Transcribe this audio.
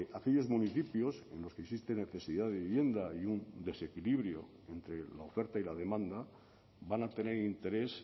aquellos municipios en los que existe necesidad de vivienda y un desequilibrio entre la oferta y la demanda van a tener interés